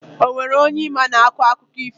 Enwere onye ị ma na-akọ akụkọ ifo?